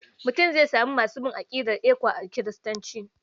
Mutum zai samu masu bin aƙidar ECWA a Kiristoci.